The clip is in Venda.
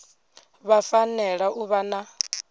vha fanela u vha na